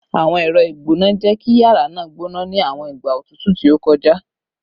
Awọn ẹrọ igbona jẹ ki yara naa gbona ni awọn igba otutu ti o kọja